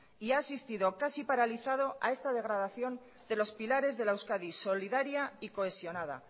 y ha asistido casi paralizado a esta degradación de los pilares de la euskadi solidaria y cohesionada